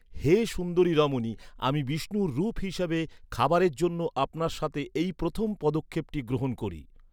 হে সুন্দরী রমণী, আমি, বিষ্ণুর রূপ হিসাবে, খাবারের জন্য আপনার সাথে এই প্রথম পদক্ষেপটি গ্রহণ করি।